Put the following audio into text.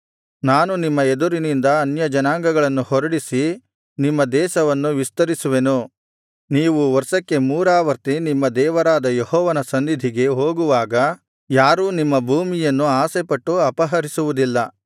ನಾನು ನಿಮ್ಮ ಎದುರಿನಿಂದ ಅನ್ಯಜನಾಂಗಗಳನ್ನು ಹೊರಡಿಸಿ ನಿಮ್ಮ ದೇಶವನ್ನು ವಿಸ್ತರಿಸುವೆನು ನೀವು ವರ್ಷಕ್ಕೆ ಮೂರಾವರ್ತಿ ನಿಮ್ಮ ದೇವರಾದ ಯೆಹೋವನ ಸನ್ನಿಧಿಗೆ ಹೋಗುವಾಗ ಯಾರೂ ನಿಮ್ಮ ಭೂಮಿಯನ್ನು ಆಶೆಪಟ್ಟು ಅಪಹರಿಸುವುದಿಲ್ಲ